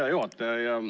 Hea juhataja!